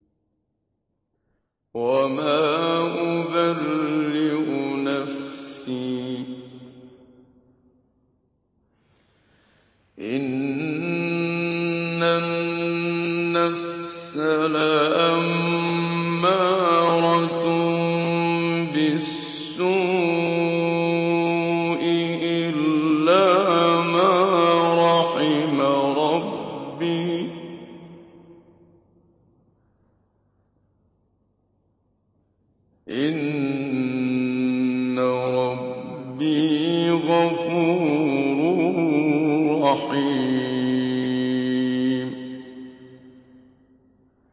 ۞ وَمَا أُبَرِّئُ نَفْسِي ۚ إِنَّ النَّفْسَ لَأَمَّارَةٌ بِالسُّوءِ إِلَّا مَا رَحِمَ رَبِّي ۚ إِنَّ رَبِّي غَفُورٌ رَّحِيمٌ